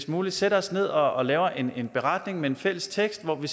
muligt sætter os ned og laver en beretning med en fælles tekst om